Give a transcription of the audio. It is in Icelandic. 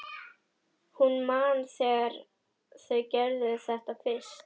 Hún man þegar þau gerðu þetta fyrst.